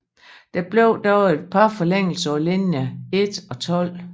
Der blev dog et par forlængelser på linje 1 og 12